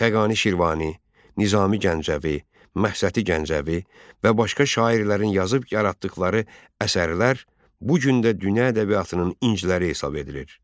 Xəqani Şirvani, Nizami Gəncəvi, Məhsəti Gəncəvi və başqa şairlərin yazıb yaratdıqları əsərlər bu gün də dünya ədəbiyyatının inciləri hesab edilir.